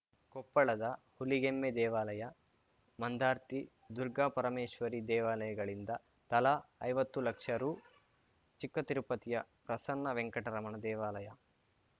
ಕೊಪ್ಪಳದ ಹುಲಿಗೆಮ್ಮೆ ದೇವಾಲಯ ಮಂದಾರ್ತಿ ದುರ್ಗಾಪರಮೇಶ್ವರಿ ದೇವಾಲಯಗಳಿಂದ ತಲಾ ಐವತ್ತು ಲಕ್ಷ ರು ಚಿಕ್ಕತಿರುಪತಿಯ ಪ್ರಸನ್ನ ವೆಂಕಟರಮಣ ದೇವಾಲಯ